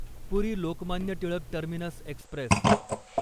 puri Lokmanya Tilak terminus Express